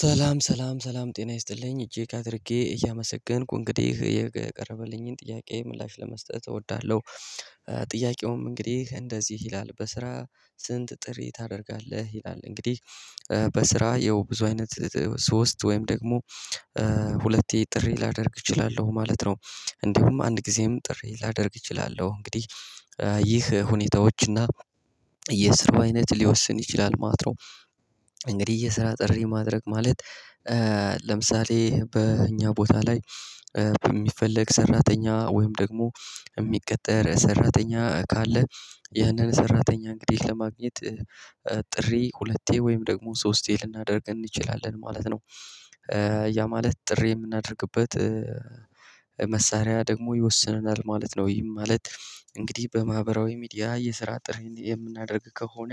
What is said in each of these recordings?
ሰላም ሰላም ሰላም ጤና ይስጥልኝ እግ አድረጌ እያመሰገንኩ እንግዲህ የቀረበልኝን ጥያቄ ምላሽ ለመስጠት እወዳለሁ። ጥያቄውም እንግዲህ እንደዚህ ይላል በስራ ስንት ጥሪ ታደርጋለህ ይላል? እንግዲህ በስራ ያው ብዙ አይነት ሶስት ወይም ደግሞ ሁለቴ ጥሪ ላደርግ እችላለሁ ማለት ነው። እንዲሁም አንድ ጊዜም ጥሪ ላደርግ እችላለሁ እንግዲህ ይህ ሁኔታዎችና የስራው አይነት ሊወስን ይችላል ማለት ነው። እንግዲህ የስራ ጥሪ ማድረግ ማለት ለምሳሌ በእኛ ቦታ ላይ በሚፈለግ ሰራተኛ ወይም ደግሞ የሚቀጠር ሰራተኛ ካለ ይያንን ሰራተኛ እንግዲህ ለማግኘት ጥሪ ሁለቴ ወይም ደግሞ ሶስቴ ልናደርግ እንችላለን ማለት ነው። ያ ማለት ጥሪ የምናደርግበት መሳሪያ ደግሞ ይወስነናል ማለት ነው። ይሄም ማለት እንግዲህ በማህበራዊ ሚዲያ የስራ ጥሪ የምናደርግ ከሆነ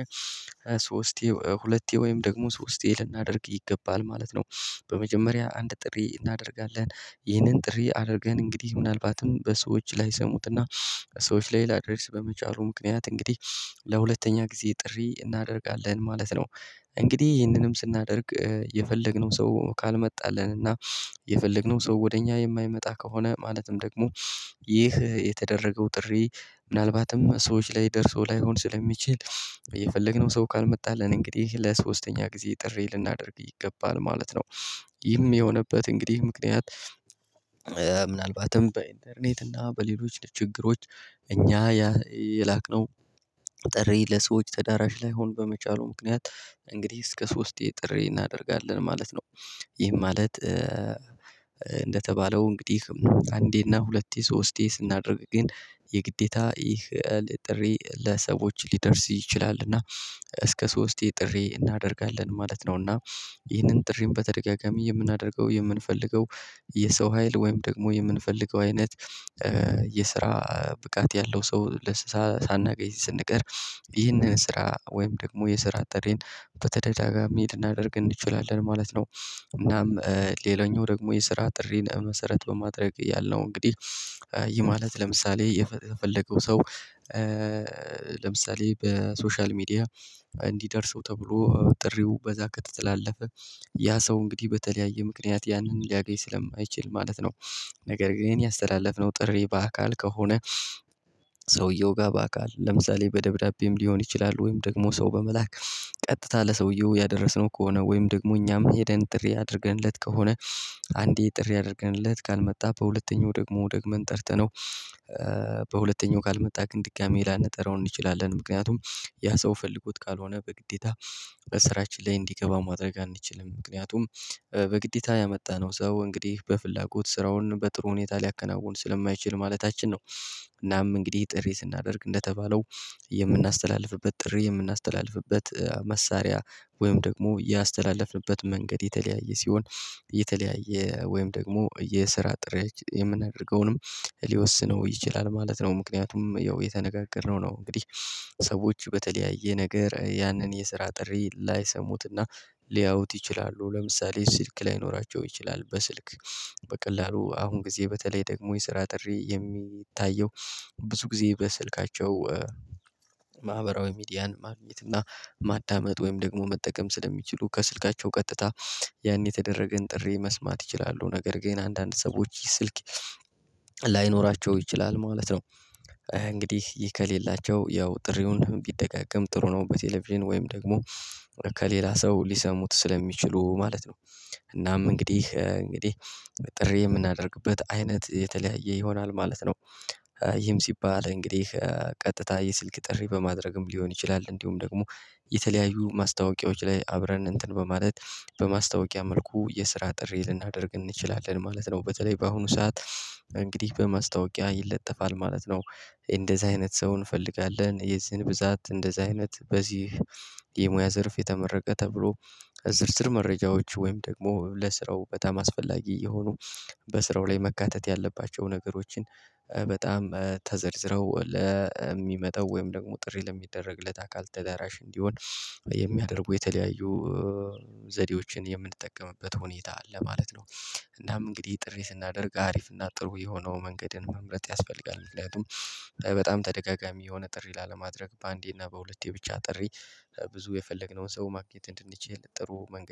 ሶስቴ ሁለቴ ወይም ደግሞ ሶስቴ ልናደርግ ይገባል ማለት ነው። በመጀመሪያ አንድ ጥሪ እናደርጋለን ይህንን ጥሪ አድርገን እንግዲህ ምናልባትም በሰዎች ላይ ላሰሙትና ሰዎች ላይ ላድርስ በመቻሉ ምክንያት እንግዲህ ለሁለተኛ ጊዜ ጥሪ እናደርጋለን ማለት ነው። እንግዲህ ይህንንም ስናደርግ የፈለግነው ሰው ካልመጣልን እና የፈለግነው ሰው ወደ እኛ የማይመጣ ከሆነ ማለትም ደግሞ ይህ የተደረገው ጥሪ ምናልባትም ሰዎች ላይ ደርሶ ላይሆን ስለሚችል የፈለግነው ሰው ካልመጣልን እንግዲህ ለሶስተኛ ጊዜ ጥሪ ልናደርግ ይገባል ማለት ነው። ይም የሆነበት እንግዲህ ምክንያት ምናልባትም በኢንተርኔት እና በሌሎች ችግሮች እኛ ያ የላቅነው ጥሬ ለሰዎች ተዳራሽ ላይ ላይሆን በመቻሉ ምክንያት እንግዲህ እስከ ሶስቴ ጥሬ እናደርጋለን ማለት ነው። ይህ ማለት እንደተባለው እንግዲህ አንዴና ሁለቴ ሶስቴ ስናደርግ ግን የግዴታ ይህን ጥሪ ለሰዎች ሊደርስ ይችላል እና እስከ ሶስቴ ጥሪ እናደርጋለን ማለት ነው። እና ይህንን ጥሪን በተደጋጋሚ የምናደርገው የምንፈልገው የሰው ሀይል ወይም ደግሞ የምንፈልገው አይነት የስራ ብቃት ያለው ሰው ለስራ ሳናገኝ ስንቀር ይህንን ስራ ወይም ደግሞ የስራ ጥሪን በተደጋጋሚ ልናደርግ እንችላለን ማለት ነው። እናም ሌላኛው ደግሞ የስራ ጥሪን መሰረት በማድረግ ያልነው እንግዲህ ይህ ማለት ለምሳሌ የተፈለገው ሰው ለምሳሌ በሶሻል ሚዲያ እንዲደርሰው ተብሎ ጥሪው በዛ ከተላለፈ ያ ሰው እንግዲህ በተለያየ ምክንያት ያንን ሊያገኝ ስለማይችል ማለት ነው። ነገር ግን ያስተላለፍነው ጥሪ በአካል ከሆነ ሰውየው ጋር በአካል ለምሳሌ በደብዳቤም ሊሆን ይችላል ወይም ደግሞ ሰው በመላክ ቀጥታ ለሰውየው ያደረስነው ከሆነ ወይም ደግሞ እኛም ሄደን ጥሪ አድርገንለት ከሆነ አንዴ ጥሪ አድርገንለት ካልመጣ በሁለተኛው ደግሞ ደግመን ጠርተነው በሁለተኛው ካልመጣ ግን ድጋሚ ላነጠረው እንችላለን። ምክንያቱም ያ ሰው ፈልጎት ካልሆነ በግዴታ በስራችን ላይ እንዲገባ ማድረግ አንችልም ምክንያቱም በግዴታ ያመጣነው ሰው እንግዲህ በፍላጎት ስራውን በጥሩ ሁኔታ ሊያከናውን ስለማይችል ማለታችን ነው። እናም እንግዲህ ጥሪ ስናደርግ እንደተባለው የምናስተላልፍበት ጥሪ የምናስተላልፍበት መሳሪያ ወይም ደግሞ ያስተላለፍንበት መንገድ የተለያየ ሲሆን የተለያየ ወይም ደግሞ የስራ ጥሪያ የምናደርገውንም ሊወስነው ይችላል ማለት ነው። ምክንያቱም ያው የተነጋገርነው ነው እንግዲህ ሰዎች በተለያየ ነገር ያንን የስራ ጥሪ ላይሰሙትና ሊያውት ይችላሉ ለምሳሌ ስልክ ላይኖራቸው ይችላል በስልክ በቀላሉ አሁን ጊዜ በተለይ ደግሞ የስራ ጥሪ የሚታየው ብዙ ጊዜ በስልካቸው። ማህበራዊ ሚዲያን ማግኘት እና ማዳመጥ ወይም ደግሞ መጠቀም ስለሚችሉ ከስልካቸው ቀጥታ ያኔ የተደረገን ጥሪ መስማት ይችላሉ ነገር ግን አንዳንድ ሰዎች ስልክ ላይኖራቸው ይችላል ማለት ነው። እንግዲህ ይህ ከሌላቸው ያው ጥሪውን ቢደጋገም ጥሩ ነው በቴሌቪዥን ወይም ደግሞ ከሌላ ሰው ሊሰሙት ስለሚችሉ ማለት ነው። እናም እንግዲህ እንግዲህ ጥሪ የምናደርግበት አይነት የተለያየ ይሆናል ማለት ነው። ይህም ሲባል እንግዲህ ቀጥታ የስልክ ጥሪ በማድረግም ሊሆን ይችላል እንዲሁም ደግሞ የተለያዩ ማስታወቂያዎች ላይ አብረን እንትን በማለት በማስታወቂያ መልኩ የስራ ጥሪ ልናደርግ እንችላለን ማለት ነው። በተለይ በአሁኑ ሰዓት እንግዲህ በማስታወቂያ ይለጠፋል ማለት ነው። እንደዚህ አይነት ሰው እንፈልጋለን የዚህን ብዛት እንደዚህ አይነት በዚህ የሙያ ዝርፍ የተመረቀ ተብሎ ዝርዝር መረጃዎች ወይም ደግሞ ለስራው በጣም አስፈላጊ የሆኑ በስራው ላይ መካተት ያለባቸውን ነገሮችን በጣም ተዘርዝረው ለሚመጣው ወይም ደግሞ ጥሪ ለሚደረግለት አካል ተዳራሽ እንዲሆን የሚያደርጉ የተለያዩ ዘዴዎችን የምንጠቀምበት ሁኔታ አለ ማለት ነው። እናም እንግዲህ ጥሪ ስናደርግ አሪፍ እና ጥሩ የሆነውን መንገድን መምረጥ ያስፈልጋል ምክንያቱም በጣም ተደጋጋሚ የሆነ ጥሪ ላለማድረግ በአንዴ እና በሁለቴ ብቻ ጥሪ ብዙ የፈለግነውን ሰው ማግኘት እንድንችል ጥሩ መንገድ